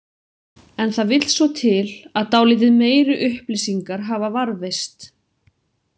En það vill svo til að dálítið meiri upplýsingar hafa varðveist.